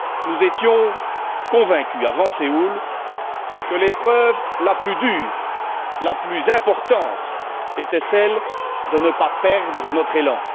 Nous étions convaincus, avant Séoul, que l'épreuve la plus dure, la plus importante, était celle de ne pas perdre notre élan.